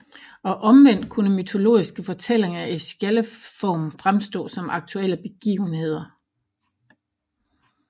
Og omvendt kunne mytologiske fortællinger i skjaldeform fremstå som aktuelle begivenheder